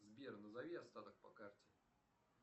сбер назови остаток по карте